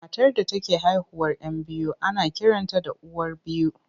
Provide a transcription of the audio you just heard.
Matar da take haihuwar 'yan biyu ana kiranta da uwar biyu.